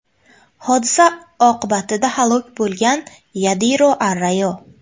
Hodisa oqibatida halok bo‘lgan Yadiro Arrayo.